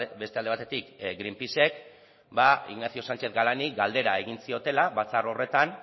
beste alde batetik greenpeacek ignacio sánchez galani galdera egin ziotela batzar horretan